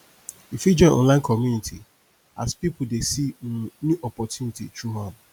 yu fit join online community as pipo dey see um new opportunity through am